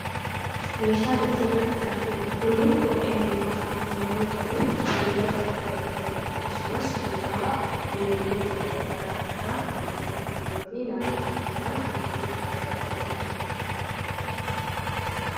Meeshaan asirratti arginu Kun, kophee miilaa yemmuu ta'u, miilatti kan godhatamu akkasumas gogaa bineeldota garaagaraa irraa kan qopheeffame fi naannoo garaagaraatti gurgurtaaf kan dhihaatudha.